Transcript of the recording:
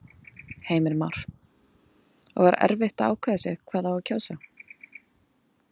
Heimir Már: Og var erfitt að ákveða sig hvað á að kjósa?